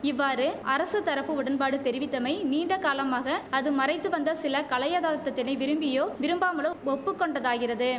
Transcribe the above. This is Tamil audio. இவ்வாறு அரசு தரப்பு உடன்பாடு தெரிவித்தமை நீண்டகாலமாக அது மறைத்துவந்த சில களையதார்த்தத்தினை விரும்பியோ விரும்பாமலோ ஒப்புக்கொண்டதாகிறது